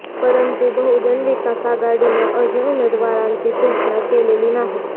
परंतु बहुजन विकास आघाडीनं अजून उमेदवाराची घोषणा केलेली नाही